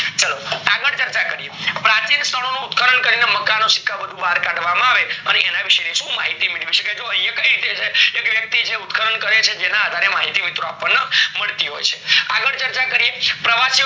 ચાલો આગળ ચર્ચા કરીએ પ્રાચીન સ્થળ નો ઉત્ખન કરીને મકાનો સિક્કા બધું બાર કાઢવામાં આવે પછી એના વિષે ની માહિતી મેળવી શકાય જો એકય રોતે જે એક વ્યક્તિ ઉત્ખન કરે છે જેના આધારે માહિતી આપણને મળતી હોય છે આગળ ચર્ચા કરીએ પ્રવાચીયો